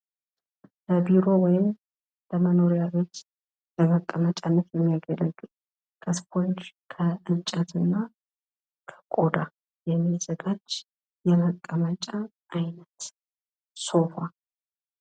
በቢሮ ወይም በመኖሪያ ቤት ለመቀመጫነት የሚያገለግል ከስፖንጅ ከእንጨት እና ከቆዳ የሚዘጋጅ የመቀመጫ አይነት ሶፋ።